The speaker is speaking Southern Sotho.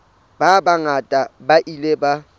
ba bangata ba ile ba